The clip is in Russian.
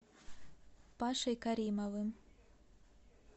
пашей каримовым